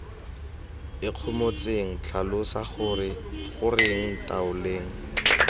ikgomotseng tlhalosa gore goreng ntaoleng